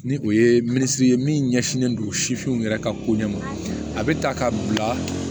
Ni o ye minisiri ye min ɲɛsinnen don sifinw yɛrɛ ka ko ɲɛ ma a bɛ ta ka bila